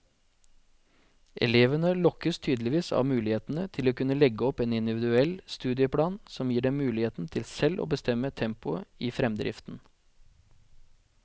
Elevene lokkes tydeligvis av mulighetene til å kunne legge opp en individuell studieplan som gir dem muligheten til selv å bestemme tempoet i fremdriften.